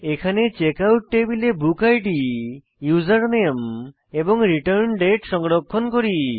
এখানে চেকআউট টেবিলে book id username এবং রিটার্ন্ডেট সংরক্ষণ করি